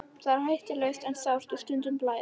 Það er hættulaust en sárt og stundum blæðir.